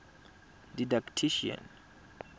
didactician